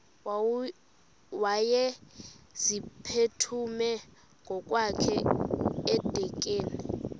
wayeziphuthume ngokwakhe edikeni